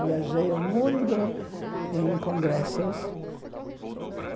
Viajei o mundo em congressos.